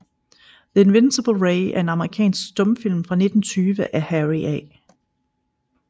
The Invisible Ray er en amerikansk stumfilm fra 1920 af Harry A